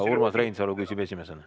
Urmas Reinsalu küsib esimesena.